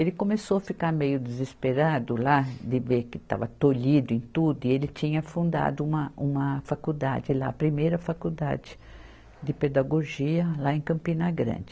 Ele começou a ficar meio desesperado lá, de ver que estava tolhido em tudo, e ele tinha fundado uma, uma faculdade lá, a primeira faculdade de pedagogia lá em Campina Grande.